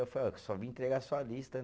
Eu falei, só vim entregar sua lista